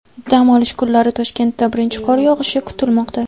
Dam olish kunlari Toshkentda birinchi qor yog‘ishi kutilmoqda.